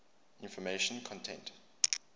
information content